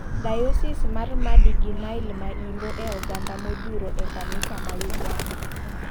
Diosis mar Madi gi Nile ma imbo e oganda modhuro e kanisa ma Uganda.